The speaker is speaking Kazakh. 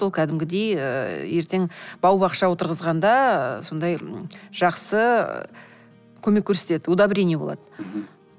ол кәдімгідей ы ертең бау бақша отырғызғанда ы сондай жақсы ы көмек көрсетеді удобрение болады мхм